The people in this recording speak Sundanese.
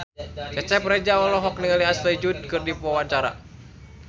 Cecep Reza olohok ningali Ashley Judd keur diwawancara